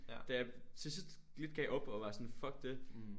Da jeg til sidst lidt gav op og var sådan fuck det